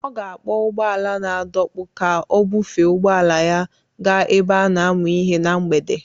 Ọ ga-akpọ ụgbọ ala na-adọkpụ ka ọ bufee ụgbọ ala ya gaa ebe a na-amụ ihe na mgbede